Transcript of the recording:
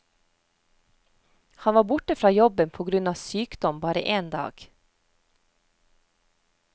Han var borte fra jobben på grunn av sykdom bare én dag.